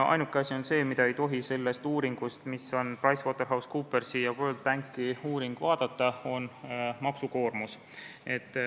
Ainuke asi, mida ei tohi sellest uuringust, mis on PricewaterhouseCoopersi ja World Banki uuring, vaadata, on maksukoormus.